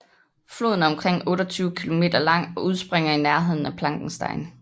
Floden er omkring 28 km lang og udspringer i nærheden af Plankenstein